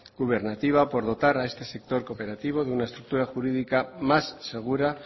gubernativa por dotar a este sector cooperativo de una estructura jurídica más segura